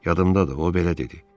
Yadımdadır, o belə dedi.